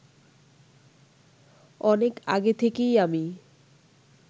অনেক আগে থেকেই আমি